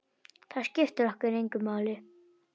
Það skiptir okkur engu máli.